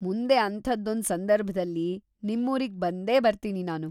ಮುಂದೆ ಅಂಥದ್ದೊಂದ್‌ ಸಂದರ್ಭ್‌ದಲ್ಲಿ ನಿಮ್ಮೂರಿಗ್ಬಂದೇ ಬರ್ತೀನಿ ನಾನು.